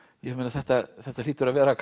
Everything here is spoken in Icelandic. þetta þetta hlýtur að vera